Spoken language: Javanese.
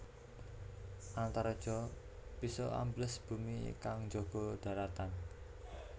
Antareja bisa ambles bumi kang njaga dharatan